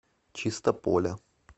чистополя